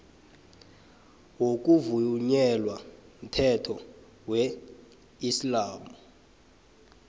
ngokuvunyelwa mthetho wesiislamu